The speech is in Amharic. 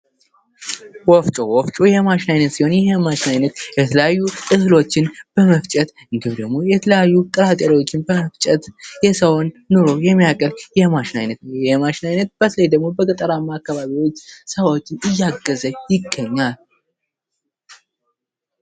ወፍጮ፦ ወፍጮ የማሽን አይነት ሲሆን ይህ የማሽን አይነት የተለያዩ እህሎችን በመፍጨት፥ የተለያዩ ጥራጥሬዎችን በመፍጨት የሰውን ኑሮ የሚያቀል የማሽን አይነት ነው ይህ የማሽን ዓይነት በተለይ ደግሞ በገጠር አካባቢዎች ሰዎችን እያገዘ ይገኛል።